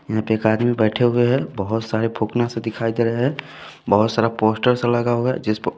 यहाँ पे एक आदमी बैठे हुए हैं बहुत सारे फूकना सब दिखाई दे रहे हैं बहुत सारा पोस्टर सा लगा हुआ है जिस पर --